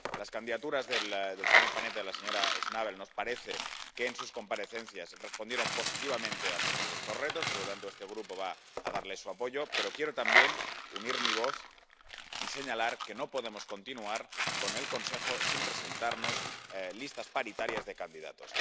En cuanto a las candidaturas del señor Panetta y de la señora Schnabel, nos parece que en sus comparecencias respondieron positivamente a muchos de estos retos, por lo que este grupo va a darles su apoyo, pero quiero también unir mi voz y señalar que no podemos continuar con que el Consejo siga sin presentarnos listas paritarias de candidatos.